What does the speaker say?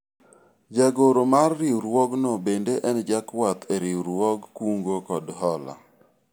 jagoro mar riwruogno bende en jakwath e riwruog kungo kod hola